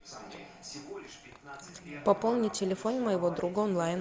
пополни телефон моего друга онлайн